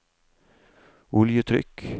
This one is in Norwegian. oljetrykk